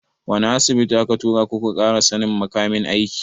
Wani Asibitin aka tura ku ƙara sannin makamin aiki?